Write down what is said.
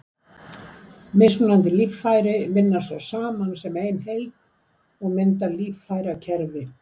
Mismunandi líffæri vinna svo saman sem ein heild og mynda líffærakerfi.